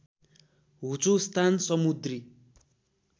होचो स्थान समुन्द्री